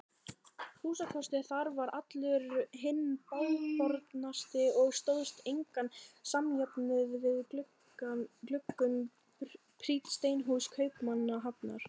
Húsakostur þar var allur hinn bágbornasti og stóðst engan samjöfnuð við gluggum prýdd steinhús Kaupmannahafnar.